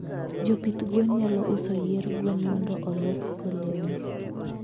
jopidh gwen nyalo uso yier gwen mondo olosgo lewni